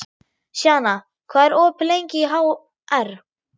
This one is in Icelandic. Sjana, hvað er opið lengi í HR?